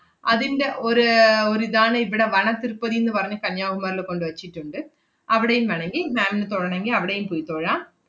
അതിന്‍റെ ഒര് അഹ് ഒരിതാണ് ഇവടെ വനത്തിരുപ്പതിന്ന് പറഞ്ഞ് കന്യാകുമാരില് കൊണ്ട് വെച്ചിട്ടൊണ്ട്. അവടെയും വേണോങ്കി ma'am ന് തോഴണോങ്കി അവടെയും പോയി തൊഴാം.